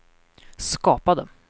skapade